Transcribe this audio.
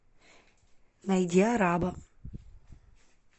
найди араба